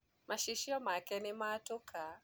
macicio make nĩmatũka.